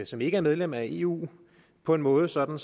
som ikke er medlem af eu på en måde sådan